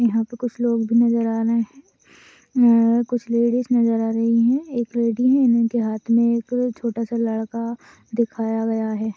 यहा पे कुछ लोग भी नजर आ रहे है अह कुछ लेडीज नजर आ रही है एक लेडी है उनके हात मे एक छोटा सा लड़का दिखाया गया है।